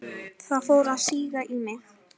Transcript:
Það fór að síga í mig.